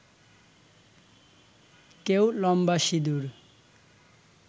কেউ লম্বা সিঁদুর